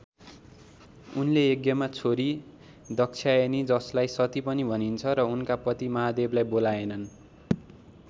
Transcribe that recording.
उनले यज्ञमा छोरी दाक्षायनी जसलाई सती पनि भनिन्छ र उनका पति महादेवलाई बोलाएनन्।